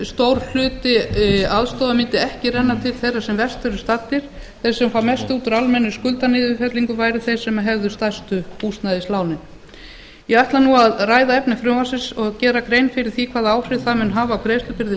stór hluti aðstoðarinnar mundi ekki renna til þeirra sem verst eru staddir þeir sem fengju mest út úr almennum skuldaniðurfellingum væru þeir sem hefðu stærstu húsnæðislánin ég ætla nú að ræða efni frumvarpsins og gera grein fyrir því hvaða áhrif það mun hafa á greiðslubyrði